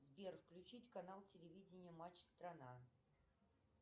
сбер включить канал телевидения матч страна